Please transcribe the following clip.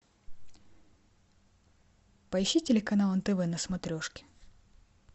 поищи телеканал нтв на смотрешке